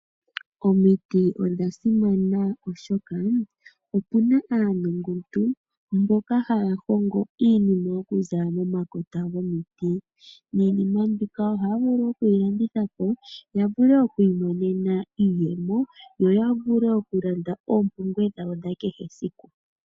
Omiti odha simana, oshoka opu na aanongontu mboka haya hongo iinima okuza momakota gomiti. Iinima mbika ohaya vulu okuyi landitha po ya vule okumona iiyemo yo ya vule okulanda oompumbwe dhawo dha kehesiku.